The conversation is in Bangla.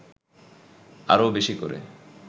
আরও বেশি করে